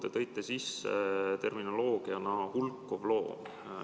Te tõite sisse termini "hulkuv loom".